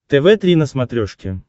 тв три на смотрешке